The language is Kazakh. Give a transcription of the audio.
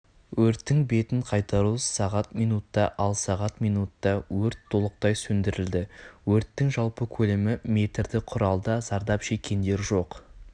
өрттің бетін қайтару сағат минутта ал сағат минутта өрт толықтай сөндірілді өрттің жалпы көлемі метрді құрады зардап шеккендер жоқ